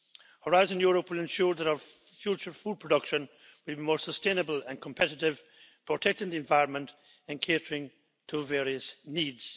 Horizon Europe will ensure that our future food production will be more sustainable and competitive, protecting the environment and catering to various needs.